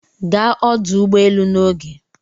Gaa ọdụ ụgbọ elu n'oge